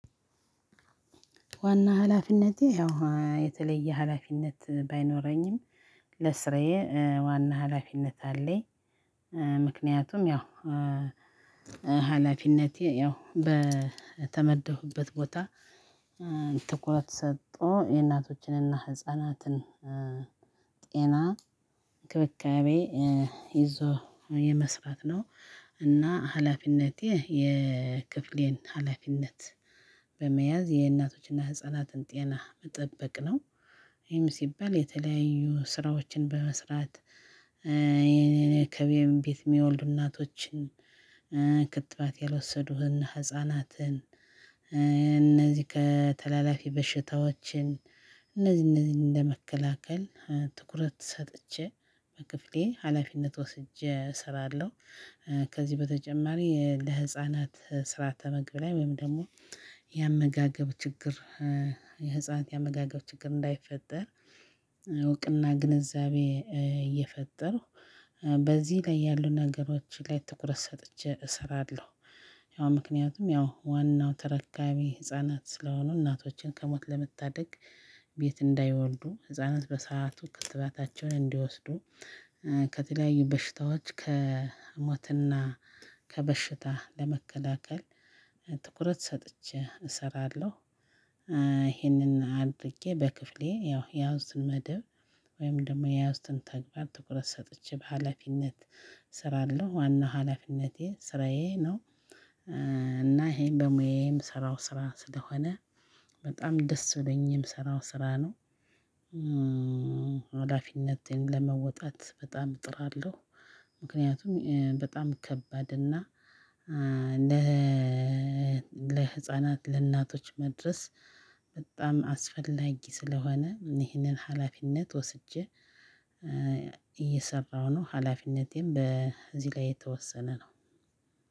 ዋና ሀላፊነቴ ያው የተለየ ሀላፊነት ባይኖረኝም ለስራዬ ዋና ሀላፊነት አለኝ ምክንያቱም ያው ሀላፊነቴ ያው በተመደብኩብት ቦታ ትኩረት ሰጥቶ የእናቶችንና ህፃናትን ጤና እንክብካቤ ይዞ የመስራት ነው። እና ሀላፊነቴ የክፍሌን ሀላፊነት በመያዝ የእናቶችና ህፃናትን ጤና መጠበቅ ነው ይህም ሲባል የተለያዩ ስራዎችን በመስራት ከኔም ቤት የሚወልዱ እናቶችን ክትባት ያልወሰዱ ህፃናትን እነዚህ ከተላላፊ በሽታዎችን እነዚህ እነዚህ እንደመከላከል ትኩረት ሰጥቼ በክፍሌ ሀላፊነት ወስጄ እሰራለሁ። ከዚህ በተጨማሪ ለህፃናት ስርዓተ ምግብ ላይ ወይም ደግሞ ያመጋገብ ችግር የህፃናት ያመጋገብ ችግር እንዳይፈጠር እውቅና ግንዛቤ እየፈጠርኩ በዚህ ላይ ያሉ ነገሮች ላይ ትኩረት ሰጥቼ እሰራለሁ። ያው ምክኒያቱም ያው ዋናው ተረካቢ ህፃናት ስለሆኑ እናቶችን ከሞት ለመታደግ ቤት እንዳይወልዱ ህጻት በሰአቱ ክትባታቸዉን እንዲወስዱ ከተለያዩ በሽታዎች ከሞትና ከበሽታ ለመከላከል ትኩረት ሰጥቼ እሰራለሁ። ይሄንን አድርጌ በክፍሌ ያው የያውኩስትን መደብ ወይም ደግሞ የያውስኩትን ተግባር ትኩረት ሰጥቼ በሃላፊነት እሰራለሁ። ዋና ሀላፊነቴ ስራዬ ነው። እና ይሄን በሙያዬ የምሰራው ስራ ስለሆነ በጣም ደስ ብሎን የምሰራው ስራ ነው። ሀላፊነቴን ለመወጣት በጣም እጥራለሁ። ምክንያቱም በጣም ከባድ እና ለ ለህፃናት ለእናቶች መድረስ በጣም አስፈላጊ ስለሆነ ይህንን ሀላፊነት ወስጄ እየሰራሁ ነው። ሀላፊነቴም በዚህ ላይ የተወሰነ ነው።